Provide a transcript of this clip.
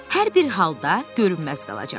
Hər bir halda görünməz qalacağam.